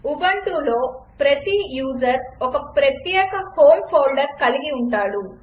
ఉబంటులో ప్రతి యూజర్ ఒక ప్రత్యేక హోమ్ ఫోల్డర్ కలిగి ఉంటాడు